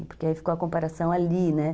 Porque aí ficou a comparação ali, né?